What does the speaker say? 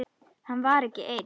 Hann var ekki einn.